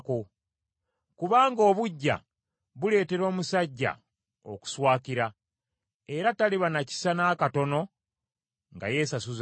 Kubanga obuggya buleetera omusajja okuswakira, era taliba na kisa n’akatono nga yeesasuza.